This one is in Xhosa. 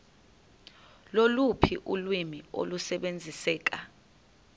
loluphi ulwimi olusebenziseka